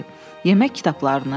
"Yemək kitablarını?"